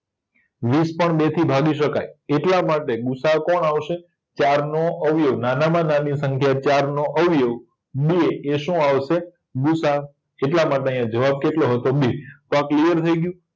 વીસ પણ બેથી ભાગી શકાય એટલા માટે ગુસાઅ કોણ આવશે ચારનો અવયવ નાનામાં નાની સંખ્યા ચારનો અવયવ બે એ શું આવશે ગુસાઅ એટલામાટે આયા જવાબ કેટલો હતો બે તો આ ક્લીયર થય ગયું